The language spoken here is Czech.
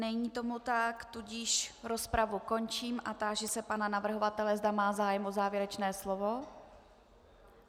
Není tomu tak, tudíž rozpravu končím a táži se pana navrhovatele, zda má zájem o závěrečné slovo.